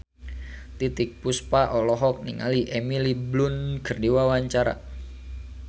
Titiek Puspa olohok ningali Emily Blunt keur diwawancara